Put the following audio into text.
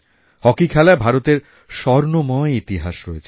hockey খেলায় ভারতের স্বর্ণময় ইতিহাস রয়েছে